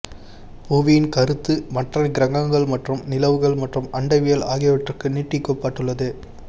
புவியின் கருத்து மற்ற கிரகங்கள் மற்றும் நிலவுகள் மற்றும் அண்டவியல் ஆகியவற்றிற்கு நீட்டிக்கப்பட்டுள்ளது